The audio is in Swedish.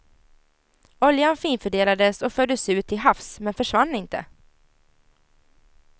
Oljan finfördelades och fördes ut till havs men försvann inte.